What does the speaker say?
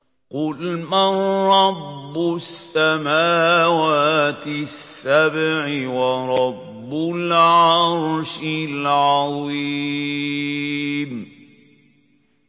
قُلْ مَن رَّبُّ السَّمَاوَاتِ السَّبْعِ وَرَبُّ الْعَرْشِ الْعَظِيمِ